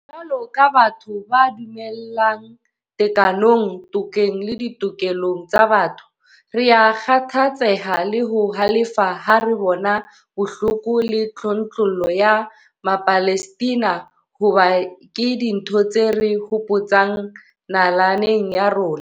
Jwalo ka batho ba dumelang tekanong, tokeng le ditokelong tsa botho, rea kgathatseha le ho halefa ha re bona bohloko le tlontlollo ya Mapalestina hoba ke dintho tse re hopotsang nalane ya rona.